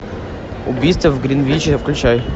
убийство в гринвиче включай